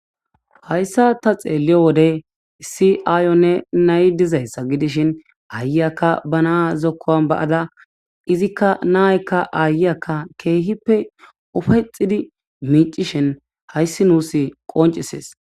Hayissan taa xello wode issi Ayonne nayiyi dizayissa gidishshin ayiyakka baa na'a zokkuwan ba'ada izzikka nayikka ayiyakka ke'ippe uppayettidi qonccishshin hayissi nusi